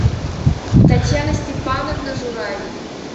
татьяна степановна журавель